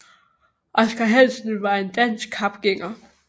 Oscar Hansen var en dansk kapgænger